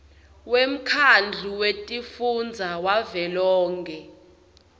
wemkhandlu wetifundza wavelonkhe